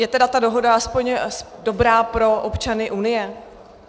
Je teda ta dohoda aspoň dobrá pro občany Unie?